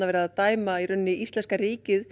verið að dæma íslenska ríkið